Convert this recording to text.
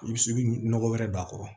I bi se i bi ɲɔgɔ wɛrɛ don a kɔrɔ